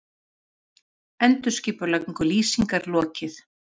Endurskipulagningu Lýsingar lokið